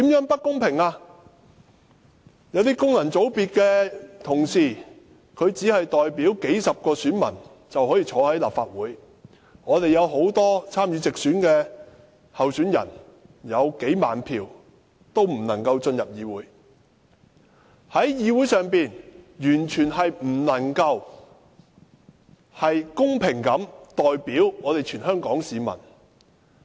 不公平之處，在於有些功能界別的同事只是代表數十名選民，便可以坐在立法會席上，但有很多參與直選的候選人，即使取得數萬票，也不能進入議會，議會完全不能夠公平地代表全香港市民。